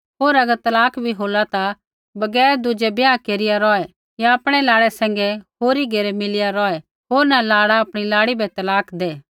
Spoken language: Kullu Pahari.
होर अगर तलाक भी होला ता बगैर दुज़ै ब्याह केरिया रौहै या आपणै लाड़ै सैंघै होरी घेरै मिलिया रौहै होर न लाड़ा आपणी लाड़ी बै तलाक दै